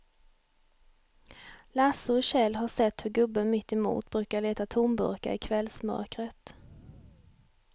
Lasse och Kjell har sett hur gubben mittemot brukar leta tomburkar i kvällsmörkret.